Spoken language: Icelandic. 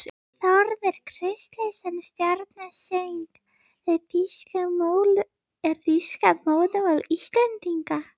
Þórður Kristleifsson stjórnar söng: er þýska móðurmál Íslendinga?